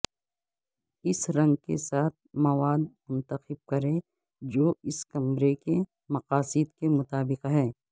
اس رنگ کے ساتھ مواد منتخب کریں جو اس کمرے کے مقاصد کے مطابق ہے